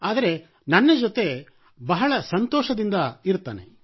ಆದರೆ ನನ್ನ ಜೊತೆ ಬಹಳ ಸಂತೋಷದಿಂದ ಇರುತ್ತಾನೆ